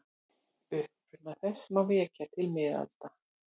Uppruna þess má rekja til miðalda.